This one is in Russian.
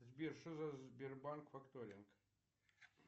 сбер что за сбербанк факторинг